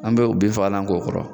An be o bin fagalan k'o kɔrɔ.